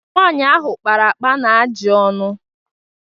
nwaanyị ahụ kpara akpa na ajị ọnụ